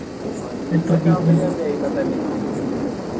അല്ലെങ്കി അയിമ്മേ തന്നെ